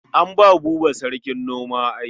An ba Buba sarkin noma ai.